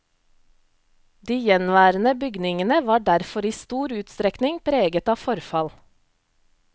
De gjenværende bygningene var derfor i stor utstrekning preget av forfall.